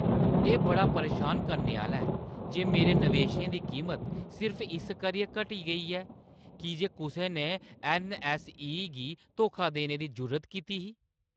एह् बड़ा परेशान करने आह्‌ला ऐ जे मेरे नवेशें दी कीमत सिर्फ इस करियै घटी गेई ऐ की जे कुसै ने ऐन्नऐस्सई गी धोखा देने दी जुर्रत कीती ही।